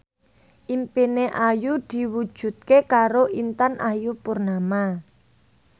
impine Ayu diwujudke karo Intan Ayu Purnama